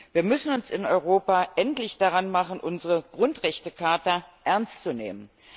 Wir müssen uns in Europa endlich daran machen, unsere Grundrechtecharta ernst zu nehmen.